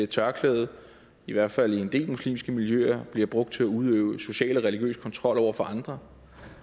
tørklædet i hvert fald i en del muslimske miljøer bliver brugt til at udøve social og religiøs kontrol over for andre